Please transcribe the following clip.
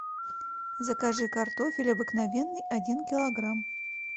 закажи картофель обыкновенный один килограмм